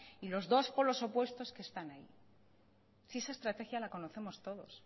y los dos polos opuestos que están ahí si esa estrategia la conocemos todos